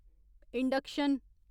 induction